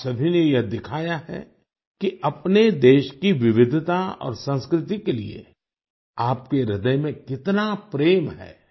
आप सभी ने यह दिखाया है कि अपने देश की विविधता और संस्कृति के लिए आपके ह्रदय में कितना प्रेम है